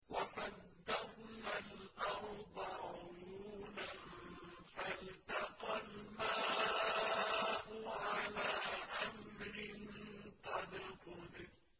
وَفَجَّرْنَا الْأَرْضَ عُيُونًا فَالْتَقَى الْمَاءُ عَلَىٰ أَمْرٍ قَدْ قُدِرَ